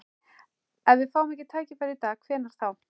Ef við fáum ekki tækifærið í dag, hvenær þá?